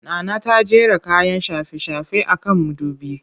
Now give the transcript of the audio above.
Nana ta jera kayan shafe-shafe a kan mudubi